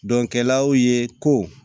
Dɔnkɛlaw ye ko